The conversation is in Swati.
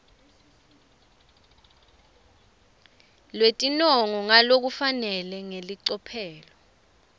lwetinongo ngalokufanele ngelicophelo